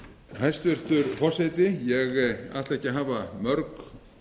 hæstvirtur forseti ég ætla ekki að hafa mörg